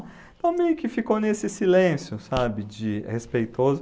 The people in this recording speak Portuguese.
Então meio que ficou nesse silêncio, sabe, de respeitoso.